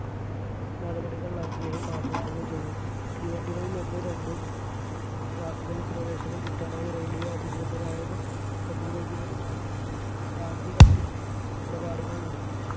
നടപടികൾ അദ്ദേഹം ആസൂത്രണം ചെയ്‌തു തീവണ്ടികളിൽ ഒന്നും രണ്ടും class കളിൽ പ്രവേശനം കിട്ടാനായി റെയിൽവേ അധികൃതരായക അധികൃതരുമായി ഗാന്ധി കത്തിടപാടുകൾ നടത്തി